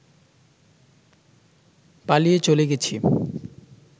পালিয়ে চলে গেছি